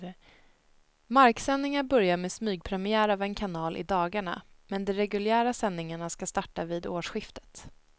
Marksändningar börjar med smygpremiär av en kanal i dagarna, men de reguljära sändningarna ska starta vid årsskiftet.